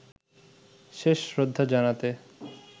শেষ শ্রদ্ধা জানাতে